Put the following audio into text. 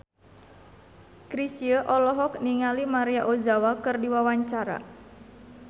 Chrisye olohok ningali Maria Ozawa keur diwawancara